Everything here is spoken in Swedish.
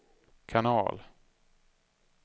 kanal